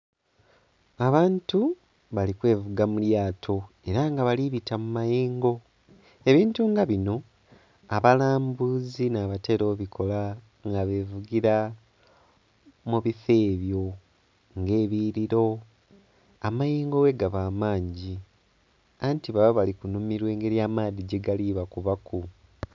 Abantu bali kwevuga mu lyato era nga bali bita mu mayengo. Ebintu nga bino abalambuzi nabatera obikola nga bevugira mu bifo ebyo nga ebiyughiliro amayengo ghegaba amangi anti baba biri kunhumirwa engeri amaadhi gyegali bakubaku.